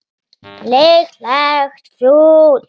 Líklegt fúl.